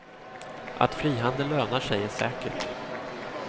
Att frihandel lönar sig är säkert.